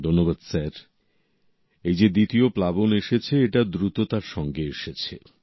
ধন্যবাদ স্যার এই যে দ্বিতীয় প্লাবন এসেছে এটা দ্রুততার সঙ্গে এসেছে